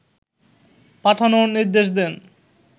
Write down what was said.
পাঠানোর নির্দেশ দেন